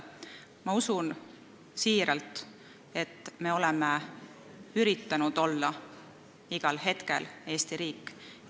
Ma usun siiralt, et me oleme üritanud olla igal hetkel Eesti riik.